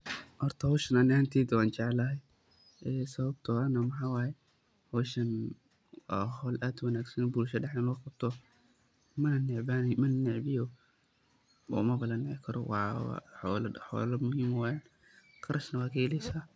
Horta howshan ani ahanteyda wa jeclahay sawabto ah waxa waye howshan wa howl aad uwanagsan in bulshada dhededa luguqabto mananecbiyo oo mabalanici karo oo xolo muhim eh waye qarashne wa kaheleysa